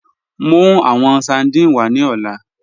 Mú awọn sardine wà ní ọlá